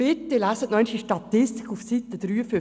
Lesen Sie bitte noch einmal die Statistik auf Seite 53;